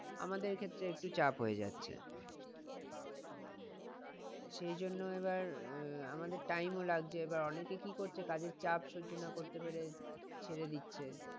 আমাদের ক্ষেত্রে একটু চাপ হয়ে যাচ্ছে। তো সেই জন্য এবার আহ আমাদের time ও লাগছে এবার অনেকে কি করছে কাজের চাপ সহ্য না করতে পেরে ছেড়ে দিচ্ছে।